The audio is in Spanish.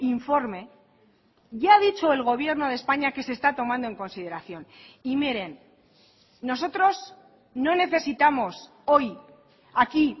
informe ya ha dicho el gobierno de españa que se está tomando en consideración y miren nosotros no necesitamos hoy aquí